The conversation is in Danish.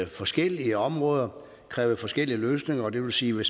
forskellige områder krævede forskellige løsninger det vil sige